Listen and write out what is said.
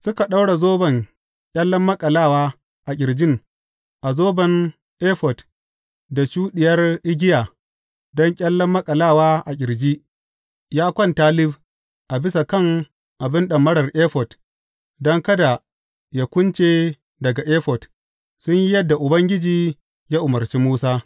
Suka ɗaura zoban ƙyallen maƙalawa a ƙirjin a zoban efod da shuɗiyar igiya don ƙyallen maƙalawa a ƙirji, ya kwanta lif a bisa kan abin ɗamarar efod don kada yă kunce daga efod, sun yi yadda Ubangiji ya umarci Musa.